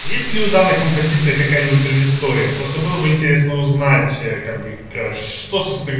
есть ли у данной композиции какая-нибудь предыстория просто было бы интересно узнать как бы что собственно